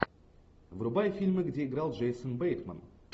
врубай фильмы где играл джейсон бейтман